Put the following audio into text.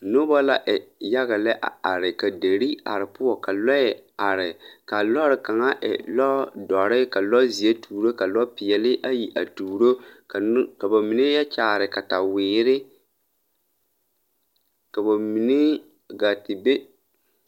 Noba la e yaga lɛ a are ka deri are poɔ ka lɔɛ are ka lɔɔre kaŋa e lɔdɔre ka lɔzeɛ tuuro ka lɔpeɛlle ayi a tuuro ka no ka ba mine yɔ kyaare kataweere ka ba mine gaa te be.